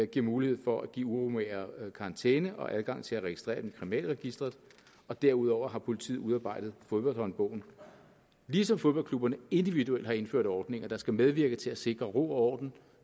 giver mulighed for at give uromagere karantæne og adgang til at registrere dem i kriminalregisteret og derudover har politiet udarbejdet fodboldhåndbogen ligesom fodboldklubberne individuelt har indført ordninger der skal medvirke til at sikre ro og orden